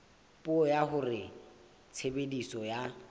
puo ya hore tshebediso ya